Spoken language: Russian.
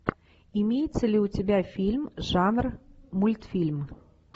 имеется ли у тебя фильм жанр мультфильм